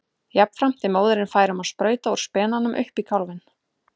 Jafnframt er móðirin fær um að sprauta úr spenanum upp í kálfinn.